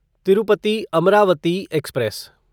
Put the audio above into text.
Tirupati Amravati express